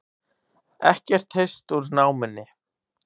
Ekkert heyrst úr námunni